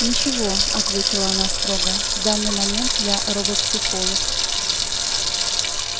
ничего ответила она строго в данный момент я робопсихолог